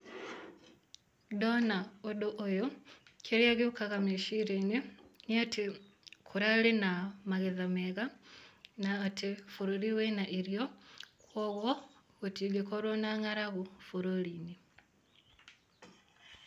Ndona ũndũ ũyũ, kĩrĩa gĩũkaga meciria-inĩ nĩ atĩ, kũrarĩ na magetha mega na atĩ bũrũri wĩna irio, koguo gũtingĩkorwo na ng'aragu bũrũri-inĩ.